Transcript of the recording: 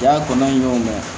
Yaa kɔnɔna y'o ma